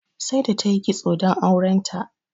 Saida ta yi kitso don auren ta.